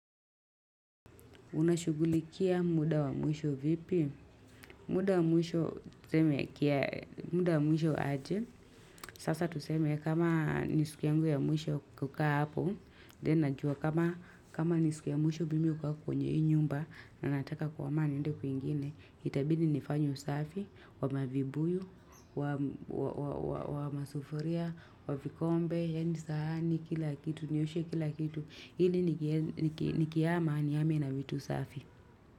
Unashugulikia muda wa mwisho vipi? Muda wa mwisho muda wa mwisho aje. Sasa tuseme kama ni siku yangu ya mwisho kukaa hapo. Then najua kama ni siku ya mwisho mimi kukaa kwenye hii nyumba. Ninataka kuhama niende kwingine. Itabidi nifanye usafi. Wa mavibuyu, wa masufuria, wa vikombe. Yaani sahani kila kitu. Nioshe kila kitu. Ili nikihama nihame na vitu safi.